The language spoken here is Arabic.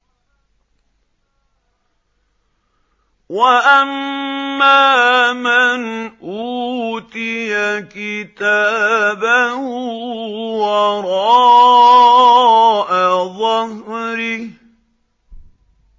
وَأَمَّا مَنْ أُوتِيَ كِتَابَهُ وَرَاءَ ظَهْرِهِ